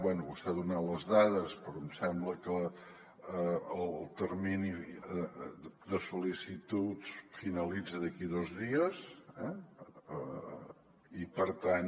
bé vostè ha donat les dades però em sembla que el termini de sol·licituds finalitza d’aquí dos dies eh i per tant